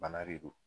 Bana de don